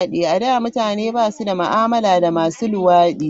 A da, mutane ba su da ma'amala da masu luwadi.